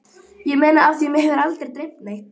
Ég meina af því mig hefur aldrei dreymt neitt.